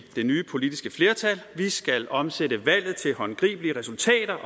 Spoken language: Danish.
det nye politiske flertal vi skal omsætte valget til håndgribelige resultater